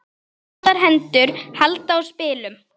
Litlar hendur halda á spilum.